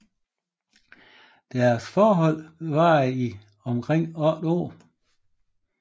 Deres forhold varede i omkring otte år